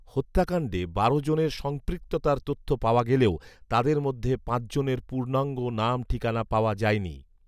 হত্যাকাণ্ডে বারো জনের সম্পৃক্ততার তথ্য পাওয়া গেলেও তাদের মধ্যে পাঁচজনের পূর্ণঙ্গ নাম ঠিকানা পাওয়া যায়নি